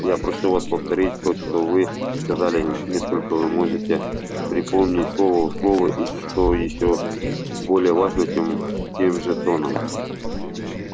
я прошу вас повторить то что вы сказали несколько вы можете припомнить слово в слово и что ещё более важно тем тем же тоном